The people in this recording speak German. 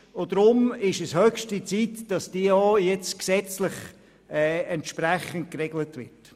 Darum ist es höchste Zeit, dass diese jetzt auch gesetzlich entsprechend geregelt wird.